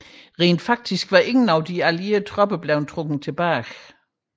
Rent faktisk var ingen af de allierede tropper blevet trukket tilbage